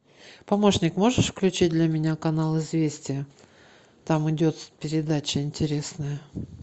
помощник можешь включить для меня канал известия там идет передача интересная